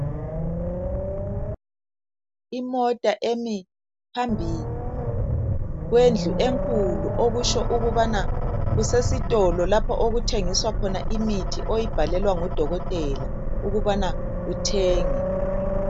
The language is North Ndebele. Imota emi phambi kwendlu enkulu okutsho ukubana kusesitolo lapho okuthengiswa khona imithi oyibhalelwa ngudokotela ukubana uthenge.